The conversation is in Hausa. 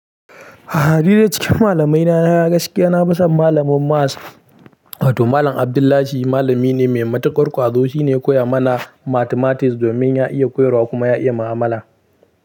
A ni duk cikin malamaina gaskiya na fi son malamin maths. Wato Malam Abdullahi malami ne mai matuƙar ƙwazo. Shi ne ya koya mana mathematics domin ya iya koyarwa kuma ya iya ma'amala.